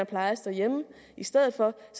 plejes derhjemme i stedet for